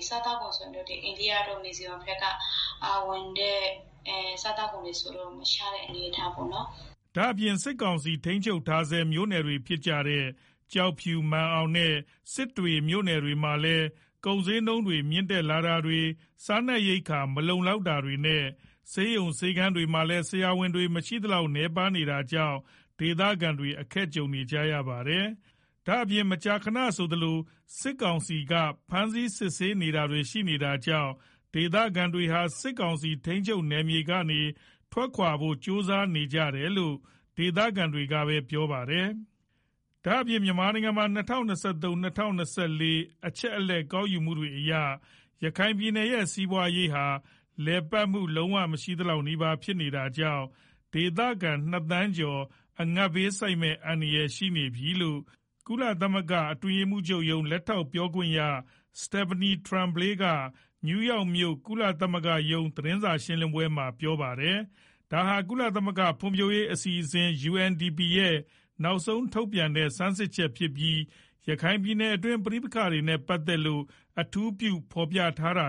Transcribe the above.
။ စားသောက်ကုန်တချို့ကတော့ အိန္ဒိယတို့ မီဇိုရမ်တို့ဘက်ကဝင်တဲ့ စားသောက်ကုန်တွေ ကတော့ မရှားတဲ့ အနေအထားပေါ့နော်။” ဒါ့အပြင် စစ်ကောင်စီထိန်းချုပ်ထားဆဲ မြို့နယ်တွေဖြစ်တဲ့ ကျောက်ဖြူ မာန်အောင်နဲ့ စစ်တွေမြို့နယ်မှာလည်း ကုန်ဈေးနှုန်းတွေ မြင့်တက်တာတွေ စားနပ်ရိက္ခာတွေမလုံလောက်တာတွေနဲ့ ဆေးရုံ ဆေးခန်းတွေမှာလည်း ဆရာဝန်တွေ မရှိသလောက်နည်းပါးနေတာကြောင့် ဒေသခံတွေ အခက်ကြုံနေရတာပါ။ ဒါ့အပြင် မကြာခဏဆိုသလို စစ်ကောင်စီ ဖမ်းဆီးစစ်ဆေးတာတွေ ရှိနေတာကြောင့် ဒေသခံတွေဟာ စစ်ကောင်စီထိန်းချုပ်နယ်မြေတွေကနေ ထွက်ခွာဖို့ ကြိုးစားနေကြတယ်လို့ ဒေသခံတွေကပြောပါတယ်။ ဒါ့အပြင် မြန်မာနိုင်ငံမှာ ၂၀၂၃- ၂၄ အချက်အလက် ကောက်ယူမှုတွေအရ ရခိုင်ပြည်နယ်ရဲ့ စီးပွါးရေးဟာ လည်ပတ်မှု လုံးဝ မရှိသလောက်နီးပါး ဖြစ်နေတာကြောင့် ဒေသခံ ၂ သန်းကျော် အငတ်ဘေးဆိုက်မယ့် အန္တရာယ် ရှိနေတယ်လို့ ကုလသမဂ္ဂ အတွင်းရေးမှူးချုပ်ရုံး လက်ထောက်ပြော ခွင့်ရ Stephanie Tremblay က နယူးယောက်မြို့ ကုလရုံးချုပ် သတင်းစာရှင်း လင်းပွဲမှာ ပြောပါ တယ်။ ဒါဟာ ကုလသမဂ္ဂ ဖွံဖြိုးရေးအစီအစဉ် UNDP ရဲ့ နောက်ဆုံးထုတ်ပြန်တဲ့ ဆန်းစစ်ချက်ဖြစ်ပြီး၊ ရခိုင်ပြည်နယ်တွင်း ပဋိပက္ခတွေနဲ့ ပတ်သက်လို့ အထူးပြုဖော်ပြထားတာ